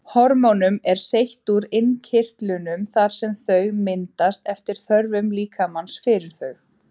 Hormónum er seytt úr innkirtlunum þar sem þau myndast eftir þörfum líkamans fyrir þau.